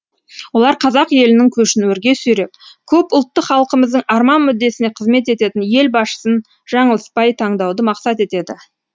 олар қазақ елінің көшін өрге сүйреп көп ұлтты халқымыздың арман мүддесіне қызмет ететін ел басшысын жаңылыспай таңдауды мақсат етеді